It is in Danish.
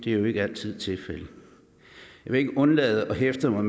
er jo ikke altid tilfældet jeg vil ikke undlade at hæfte mig